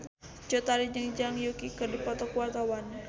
Cut Tari jeung Zhang Yuqi keur dipoto ku wartawan